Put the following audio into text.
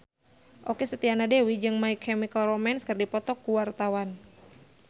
Okky Setiana Dewi jeung My Chemical Romance keur dipoto ku wartawan